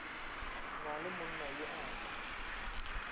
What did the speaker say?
na le monnayo a ka